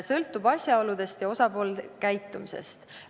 Sõltub asjaoludest ja osapoolte käitumisest.